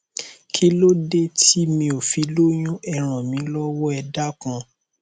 kílódé tí mi ò fi lóyún ẹ ràn mí lọwọ ẹ dákun